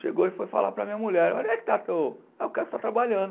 Chegou e foi falar para a minha mulher, olha aí que o cara está trabalhando.